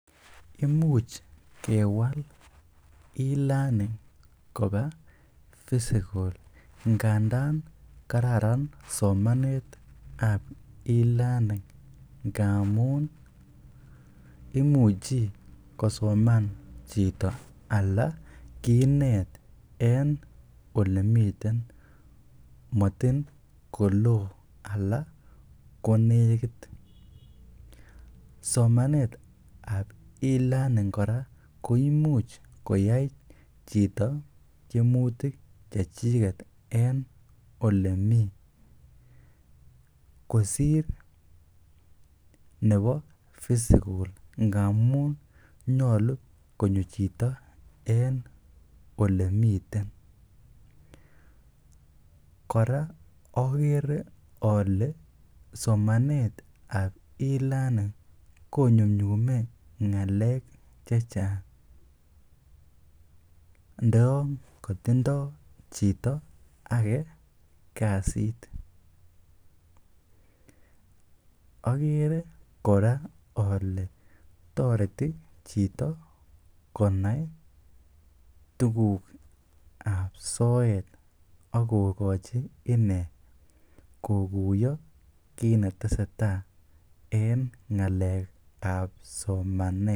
Imuch kewal e-learning kobaa physical ngandan kararan somanetab e-learning ngamun imuchi kosoman chito alaa kinet en olemiten motin koloo alaa konekit, somanetab e-learning kora ko imuch koyai chito tiemutik chechiket en olemii kosir nebo physical ngamun nyolu konyo chito en olenmiten, kora okere olee somanetab e-learning konyumnyume ngalek chechang ndoyon kotindo chito akee kasit, okere kora olee toreti chito konai tukukab soet ak kokochi inee kokuyo kiit neteseta en ngalekab somanet.